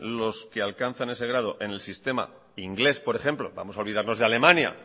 los que alcanzan ese grado en el sistema inglés por ejemplo vamos a olvidarnos de alemania